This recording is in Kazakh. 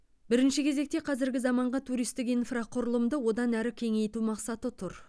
бірінші кезекте қазіргі заманғы туристік инфрақұрылымды одан әрі кеңейту мақсаты тұр